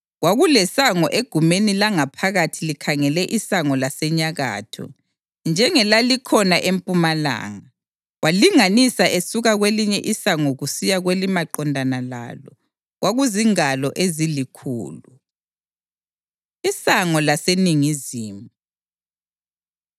Kwakulesango egumeni langaphakathi likhangele isango lasenyakatho, njengelalikhona empumalanga. Walinganisa esuka kwelinye isango kusiya kwelimaqondana lalo; kwakuzingalo ezilikhulu. Isango Laseningizimu